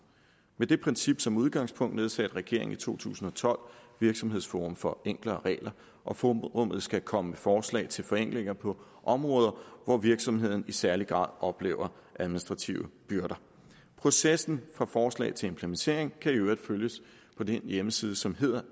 med det princip som udgangspunkt nedsatte regeringen i to tusind og tolv virksomhedsforum for enklere regler og forummet skal komme med forslag til forenklinger på områder hvor virksomheden i særlig grad oplever administrative byrder processen fra forslag til implementering kan i øvrigt følges på den hjemmeside som hedder